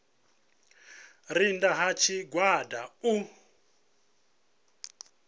re nnda ha tshigwada u